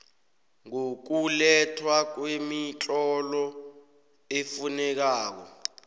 ngokulethwa kwemitlolo efunekako